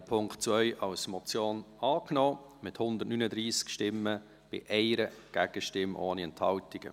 Sie haben den Punkt 2 als Motion angenommen, mit 139 Ja- gegen 1 Nein-Stimme bei 0 Enthaltungen.